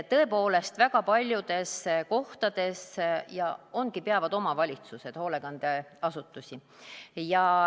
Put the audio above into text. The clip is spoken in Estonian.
Tõepoolest väga paljudes kohtades ongi nii, et omavalitsused peavad hoolekandeasutusi.